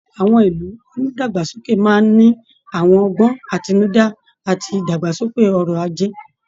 Àwọn ìlú onídàgbàsókè máa ń ní àwọn ọgbọ́n àtinúdá àti ìdàgbàsókè ọrọ̀ ajé